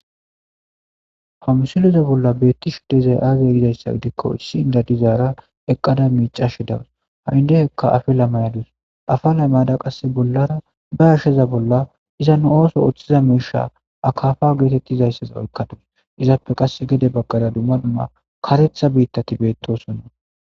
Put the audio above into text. hamsuleza bolla beetti shuddezay aazey gizayssa gidikko issi inda dizaara eqqada miicashe dawas ha7indehekka afe lamayadus afa laymaada qasse bollara ba asheza bolla iza nu ooso oththiza meesha akafa geetettizayssaza oykkadus izaappe qasse gede baggada dumma dumma karetha biittati beettosonna